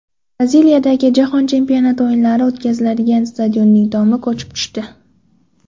Braziliyadagi Jahon chempionati o‘yinlari o‘tkaziladigan stadionning tomi ko‘chib tushdi.